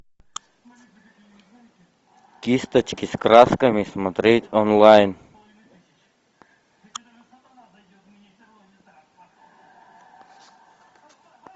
кисточки с красками смотреть онлайн